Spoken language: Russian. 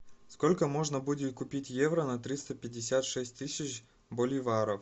сколько можно будет купить евро на триста пятьдесят шесть тысяч боливаров